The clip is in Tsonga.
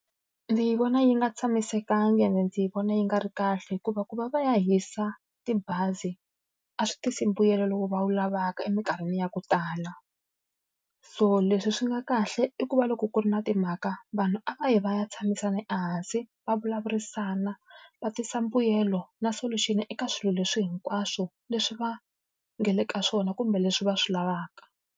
Ndzi vona yi nga tshamisekanga ene ndzi vona yi nga ri kahle hikuva ku va va ya hisa tibazi a swi tisi mbuyelo lowu va wu lavaka eminkarhini ya ku tala. So leswi swi nga kahle i ku va loko ku ri na timhaka, vanhu a va yi va ya tshamisana ehansi, va vulavurisana, va tisa mbuyelo na solution-i eka swilo leswi hinkwaswo leswi va nga le ka swona kumbe leswi va swi lavaka.